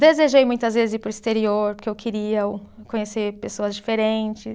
Desejei muitas vezes ir para o exterior, porque eu queria conhecer pessoas diferentes.